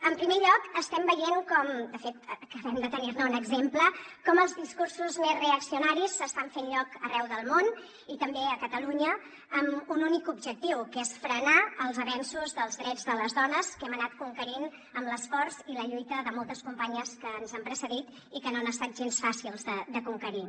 en primer lloc estem veient com de fet acabem de tenir ne un exemple els discursos més reaccionaris s’estan fent lloc arreu del món i també a catalunya amb un únic objectiu que és frenar els avenços dels drets de les dones que hem anat conquerint amb l’esforç i la lluita de moltes companyes que ens han precedit i que no han estat gens fàcils de conquerir